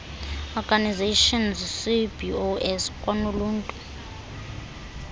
organisations cbos kwanoluntu